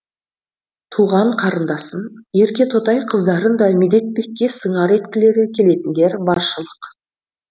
туған қарындасын еркетотай қыздарын да медетбекке сыңар еткілері келетіндер баршылық